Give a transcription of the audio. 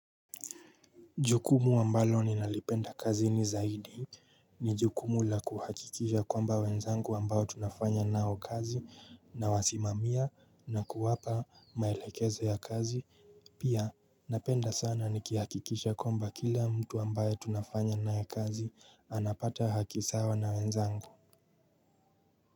Jukumu ambalo ninalipenda kazini zaidi ni jukumu la kuhakikisha kwamba wenzangu ambao tunafanya nao kazi nawasimamia na kuwapa maelekezo ya kazi Pia napenda sana nikihakikisha kwamba kila mtu ambayo tunafanya naye kazi anapata haki sawa na wenzangu.